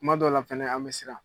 Kuma dɔ la fɛnɛ an bɛ siran.